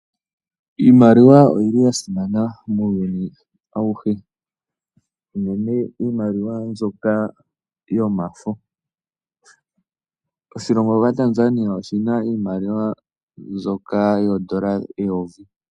Iimaliwa oyili yasima muuyuni awuhe, uunene iimaliwa mbyoka yomafo. Oshilongo shaTanzania oshina iimaliwa mbyoka yoondola eyovi.